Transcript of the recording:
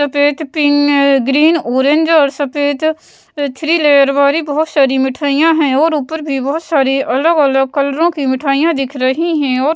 सफ़ेद पिन अ green orange और सफ़ेद थ्री लेयर वाली बहुत सारी मिठाइयाँ है और ऊपर भी बहुत सारे अलग-अलग कलरों की मिठाइयाँ दिख रही हैं और --